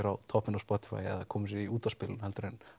á toppinn á Spotify eða koma sér í útvarpsspilun heldur en